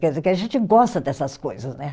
Quer dizer, que a gente gosta dessas coisas, né?